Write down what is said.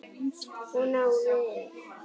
Hún á vin.